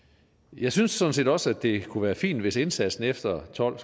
jeg synes sådan set også det kunne være fint hvis indsatsen efter tolv